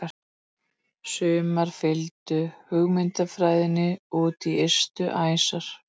Sumar fylgdu hugmyndafræðinni út í ystu æsar.